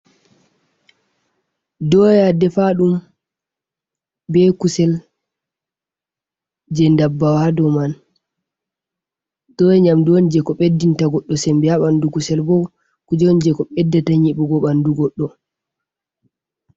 Doya defaɗum be kusel je ndabbawa ha dow man. Doya nyamdu on je ko ɓeddinta goɗɗo sembe ha ɓandu. Kusel bo kujen je ko ɓeddata nyiɓugo ɓandu goɗɗo.